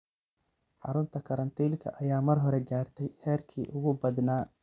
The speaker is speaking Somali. Xarunta karantiilka ayaa mar hore gaartay heerkii ugu badnaa.